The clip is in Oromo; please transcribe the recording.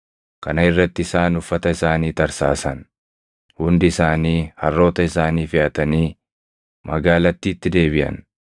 Kana irratti isaan uffata isaanii tarsaasan. Hundi isaanii harroota isaanii feʼatanii magaalattiitti deebiʼan.